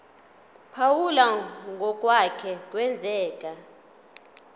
phawula ngokwake kwenzeka